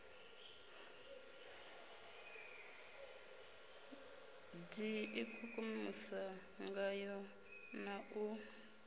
d ikukumusa ngayo na u